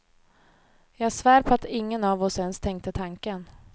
Jag svär på att ingen av oss ens tänkte tanken.